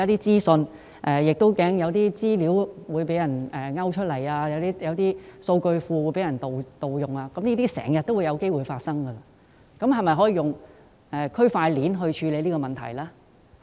政府擔心資料會被勾出或數據庫的資料被盜用，但這些問題時有發生，是否可以利用區塊鏈處理這問題？